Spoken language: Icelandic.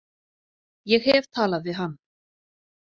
Ég hef talað við hann.